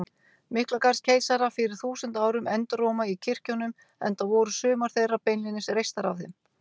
Miklagarðskeisara fyrir þúsund árum enduróma í kirkjunum, enda voru sumar þeirra beinlínis reistar af þeim.